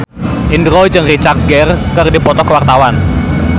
Indro jeung Richard Gere keur dipoto ku wartawan